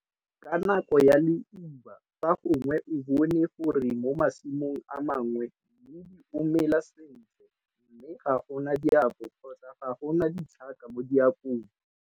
Ka nako ya leuba fa gongwe o bone gore mo masimong a mangwe mmidi o mela sentle mme ga go na diako kgotsa ga go na tlhaka mo diakong.